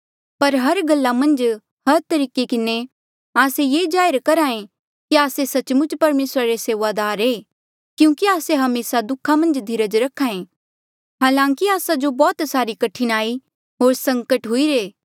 पर हर गल्ला मन्झ हर तरीके किन्हें आस्से ये जाहिर करहे कि आस्से सच्चमुच परमेसरा रे सेऊआदार ऐें क्यूंकि आस्से हमेसा दुखा मन्झ धीरज रखे हालांकि आस्सा जो बौह्त सारी कठिनाई होर संकटा हुईरे